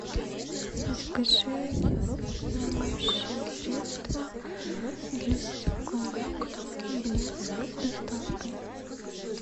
закажи моющее средство для стекол блеск с доставкой